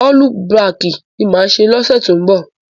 Ọ́lú bakì ni màá ṣe lọ́sẹ̀ tó ń bọ̀.